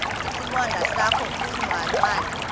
isibonda sakho ulucangwana